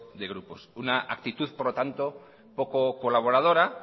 de grupo una actitud por lo tanto poco colaboradora